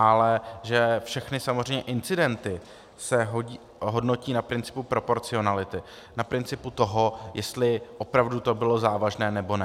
Ale že všechny samozřejmě incidenty se hodnotí na principu proporcionality, na principu toho, jestli opravdu to bylo závažné, nebo ne.